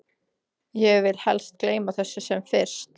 Ég vil helst gleyma þessu sem fyrst.